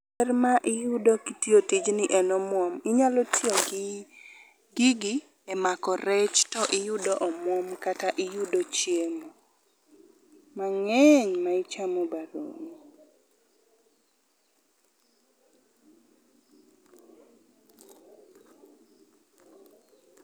Ber ma iyudo kitiyo tijni en omuom. Inyalo tiyo gi gigi e mako rech to iyudo omuom kata iyudo chiemo, mang'eny ma ichamo ba dong'.